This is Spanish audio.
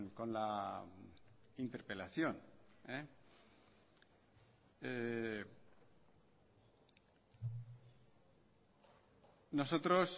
con la interpelación nosotros